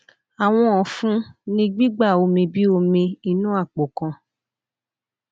awọn ọfun ni gbigba omi bi omi inu apo kan